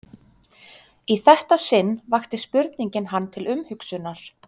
Í þetta sinn vakti spurningin hann til umhugsunar.